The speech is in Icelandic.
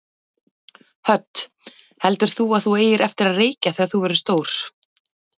Hödd: Heldur þú að þú eigir eftir að reykja þegar þú verður stór?